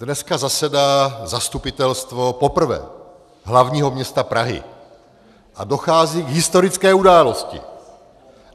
Dneska zasedá Zastupitelstvo, poprvé, hlavního města Prahy a dochází k historické události!